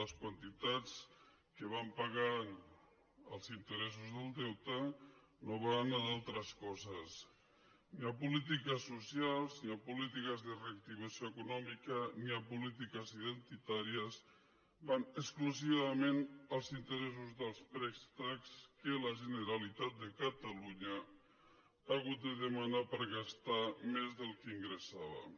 les quantitats que van pagant els interessos del deute no van a d’altres coses ni hi ha polítiques socials ni hi ha polítiques de reactivació econòmica ni hi ha polítiques identitàries van exclusivament als interessos dels préstecs que la generalitat de catalunya ha hagut de demanar per gastar més del que ingressàvem